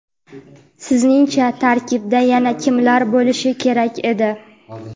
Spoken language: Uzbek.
Sizningcha tarkibda yana kimlar bo‘lishi kerak edi?.